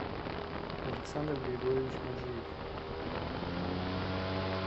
александр григорьевич маджиев